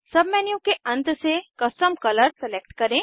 submenu के अंत से कस्टम कलर सेलेक्ट करें